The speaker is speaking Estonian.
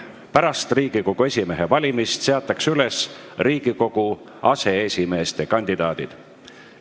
Pärast Riigikogu esimehe valimist seatakse üles Riigikogu aseesimeeste kandidaadid.